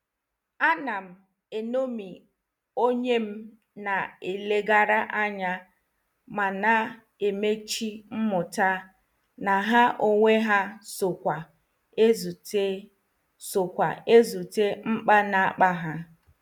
Anam enomi onyem na- elegara anya mana emechi mmụta na ha onwe ha so kwa ezute so kwa ezute nkpa na-akpa ha.